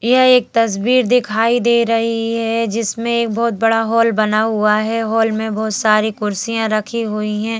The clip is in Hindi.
यह एक तस्वीर दिखाई दे रही है जिसमें बहुत बड़ा हाल बना हुआ है। हाल में बहुत सारी कुर्सियां रखी हुई है।